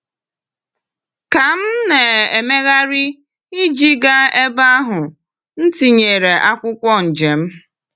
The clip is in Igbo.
Ka m na-emegharị iji gaa ebe ahụ, m tinyere akwụkwọ njem.